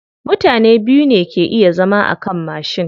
Mutane biyu ne ke iya zama akan mashi.